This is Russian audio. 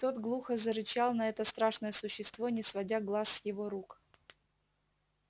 тот глухо зарычал на это страшное существо не сводя глаз с его рук